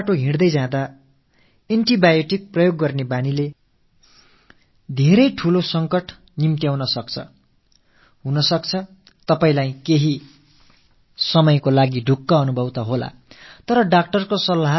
அப்போதைக்கு நோயிலிருந்து விடுதலை என்னவோ கிடைத்தாலும் எனதருமை நாட்டுமக்களே கிடைத்த போதெல்லாம் ஏதோ ஒரு antibioticஐ போட்டுக் கொள்ளும் பழக்கம் மிகவும் மோசமான சங்கடத்தை ஏற்படுத்தக் கூடும்